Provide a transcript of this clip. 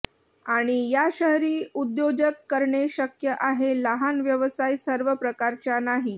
आणि या शहरी उद्योजक करणे शक्य आहे लहान व्यवसाय सर्व प्रकारच्या नाही